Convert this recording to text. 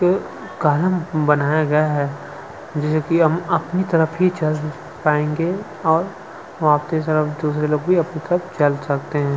एक कॉलम बनाया गया है जैसे की हम अपनी तरफ ही चल पाएंगे और वहाँ के लोग भी दूसरी आपके तरफ चल सकते हैं।